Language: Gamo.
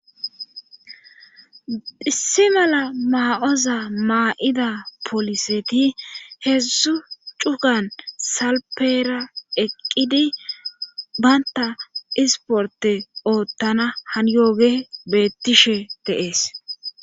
issi mala maa7oza maa7ida poliseti heedzzu cukan salpeera eqqidi baynta isporte oottana haniyooge beettishe dees